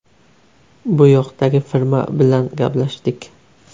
Bu yoqdagi firma bilan gaplashdik.